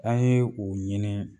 An ye u ɲini